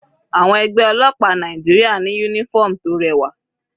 Àwọn ẹgbẹ́ ọlọ́pàá Nàìjíríà ní uniform tó rẹwà.